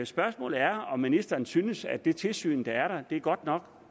spørgsmålet er om ministeren synes at det tilsyn er godt nok